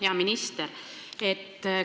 Hea minister!